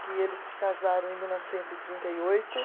que eles se casaram em mil novecentos e trinta e oito.